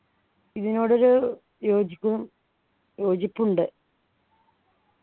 ഇതിനോട് ഒരു യോജിപ്പും യോജിപ്പുണ്ട്